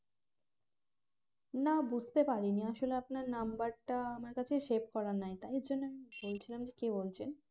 না বুঝতে পারিনি আসলে আপনার number টা আমার কাছে save করা নাই তাই জন্যে বলছিলাম যে কে বলছেন